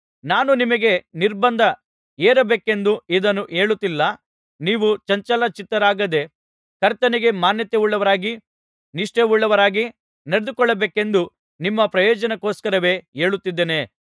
ನಾನು ನಿಮಗೆ ನಿರ್ಬಂಧ ಏರಬೇಕೆಂದು ಇದನ್ನು ಹೇಳುತ್ತಿಲ್ಲ ನೀವು ಚಂಚಲ ಚಿತ್ತರಾಗದೆ ಕರ್ತನಿಗೆ ಮಾನ್ಯತೆಯುಳ್ಳವರಾಗಿ ನಿಷ್ಠೆಯುಳ್ಳವರಾಗಿ ನಡೆದುಕೊಳ್ಳಬೇಕೆಂದು ನಿಮ್ಮ ಪ್ರಯೋಜನಕ್ಕೋಸ್ಕರವೇ ಹೇಳುತ್ತಿದ್ದೇನೆ